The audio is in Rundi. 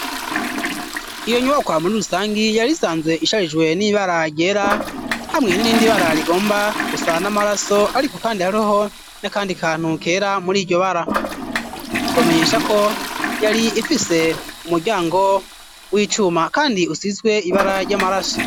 Iyo nyubakwa muri rusangi, yari isanze isharijwe n'ibara ryera hamwe n'irindi bara rigomba gusa n'amaraso, ariko kandi hariho n'akandi kantu kera muri iryo bara. Ni ukubamenyesha ko yari ifise umuryango w'icuma kandi usizwe ibara ry'amaraso.